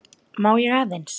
Má ég aðeins!